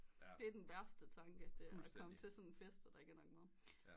Det er den værste tanke det er at komme til sådan en fest og der ikke er nok mad